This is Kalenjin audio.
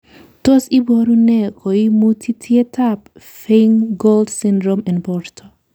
Tos iboru nee koimutitietab Feingold syndrome en borto?